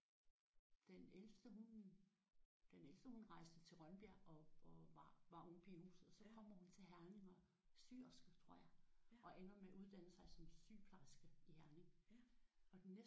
Jamen den ældste hun den ældste hun rejste til Rønbjerg og og var var ung pige i huset og så kommer hun til Herning og er syerske tror jeg og ender med at uddanne sig som sygeplejerske i Herning